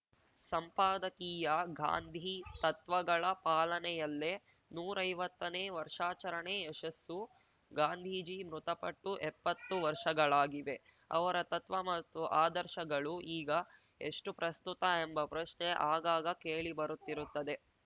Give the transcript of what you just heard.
ಸಂಪಾದಕೀಯ ಗಾಂಧಿ ತತ್ವಗಳ ಪಾಲನೆಯಲ್ಲೇ ನೂರೈವತ್ತನೇ ವರ್ಷಾಚರಣೆ ಯಶಸ್ಸು ಗಾಂಧೀಜಿ ಮೃತಪಟ್ಟು ಎಪ್ಪತ್ತು ವರ್ಷಗಳಾಗಿವೆ ಅವರ ತತ್ವ ಹಾಗೂ ಆದರ್ಶಗಳು ಈಗ ಎಷ್ಟುಪ್ರಸ್ತುತ ಎಂಬ ಪ್ರಶ್ನೆ ಆಗಾಗ ಕೇಳಿಬರುತ್ತಿರುತ್ತದೆ